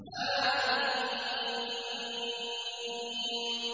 حم